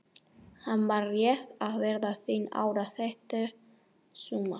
Hann var rétt að verða fimm ára þetta sumar.